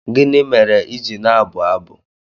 Gịnị mere i ji na-abụ abụ?